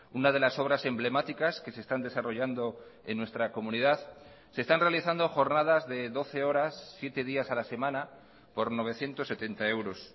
una de las obras emblemáticas que se están desarrollando en nuestra comunidad se están realizando jornadas de doce horas siete días a la semana por novecientos setenta euros